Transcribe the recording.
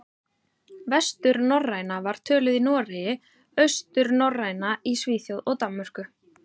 Vesturnorræna var töluð í Noregi, austurnorræna í Svíþjóð og Danmörku.